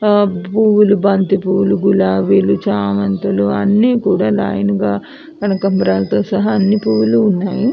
పూలు బంతి పూలుచామంతి పూలు గులాబీ చామంతులు అన్ని కూడా లైన్ గ కనకాంబరాలతో సహా అన్ని పూలు ఉన్నాయి --